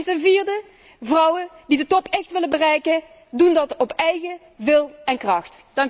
Ten vierde vrouwen die de top echt willen bereiken, doen dat op eigen wil en kracht.